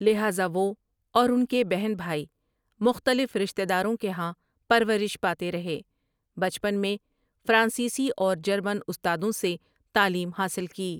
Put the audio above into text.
لہٰذا وہ اور اُن کے بہن بھائی مختلف رشتہ داروں کے ہاں پرورش پاتے رہے بچپن میں فرانسیسی اور جرمن استادوں سے تعلیم حاصل کی۔